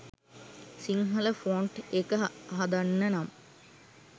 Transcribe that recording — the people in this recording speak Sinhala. සිංහල ෆොන්ට් එක හදන්න නම්